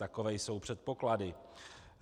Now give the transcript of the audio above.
Takové jsou předpoklady.